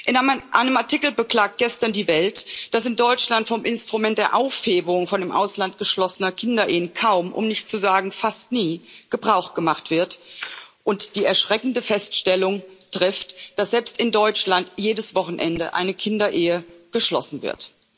In einem Artikel beklagt gestern die Welt, dass in Deutschland vom Instrument der Aufhebung von im Ausland geschlossenen Kinderehen kaum, um nicht zu sagen fast nie, Gebrauch gemacht wird, und trifft die erschreckende Feststellung, dass selbst in Deutschland jedes Wochenende eine Kinderehe geschlossen wird.